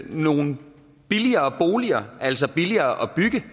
nogle billigere boliger altså billigere at bygge